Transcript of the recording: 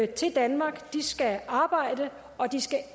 til danmark skal arbejde og